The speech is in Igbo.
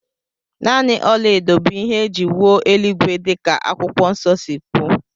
Nanị ọlaedo bụ ihe é jị wuo eluigwe dika akwụkwọ nso si kwuo